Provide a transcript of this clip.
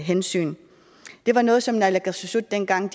hensyn det var noget som naalakkersuisut dengang